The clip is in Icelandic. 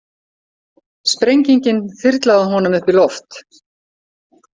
Sprengingin þyrlaði honum upp í loft.